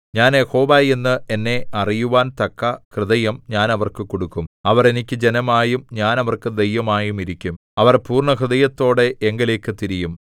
ഞാൻ യഹോവ എന്ന് എന്നെ അറിയുവാൻ തക്ക ഹൃദയം ഞാൻ അവർക്ക് കൊടുക്കും അവർ എനിക്ക് ജനമായും ഞാൻ അവർക്ക് ദൈവമായും ഇരിക്കും അവർ പൂർണ്ണഹൃദയത്തോടെ എങ്കലേക്ക് തിരിയും